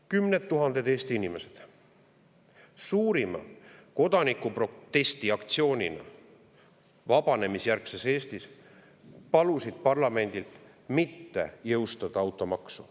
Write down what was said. Kümned tuhanded Eesti inimesed palusid vabanemisjärgse Eesti suurima kodanikuprotesti aktsiooni parlamendil mitte jõustada automaksu.